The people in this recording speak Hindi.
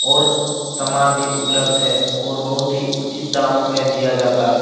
और सामान भी उपलब्ध है और बहुत ही उचित दामों में दिया जाता है।